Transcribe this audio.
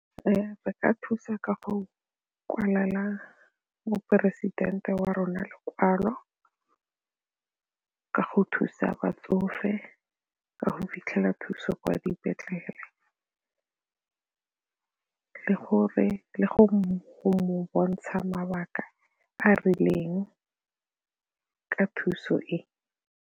Re ka thusa ka go kwalela moporesidente wa rona lekwalo ka go thusa batsofe ka go fitlhela thuso kwa dipetlele gore le go bontsha mabaka a a rileng ka thuso e.